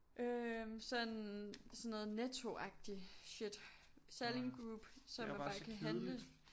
Øh sådan sådan noget Netto agtig shit. Salling Group så man bare kan handle